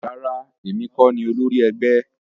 Rárá, èmi kọ ní olórí ẹgbẹ́